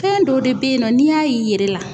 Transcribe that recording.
Fɛn dɔ de be yen nɔ n'i y'a y'i yɛrɛ la